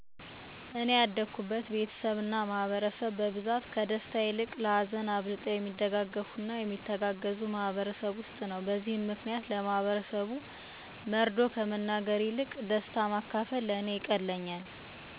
እኔ ያደኩበት ቤተሰብ እና ማህበረሰብ በብዛት ከደስታ ይልቅ ለሀዘን አብልጠው የሚደጋገፉ እና የሚተጋገዙ ማህበረሰብ ውስጥ ነው። በዚህ ምክንያት ለማህበረሰቡ መርዶ ከመናገር ይልቅ ለሰር፣ ለልደት፣ ለምርቃን እና የተለያዬ የጋራ የደስታ ነገሮችን ለሰወች ማካፈል ለእኔ ይቀለኛል። ይሄንም ስሜቴ በቀላሉ እና በደንብ የገለፅኩት የእኔ እህት ሰርግ ልይ ነበረ። ለእኔ ለእህቴን ሰርግ ሰወችን መጥራት በሄድኩበት ስለዚ ማውራት ለእኔ በጣም ቀላል የሚባል ነበረ።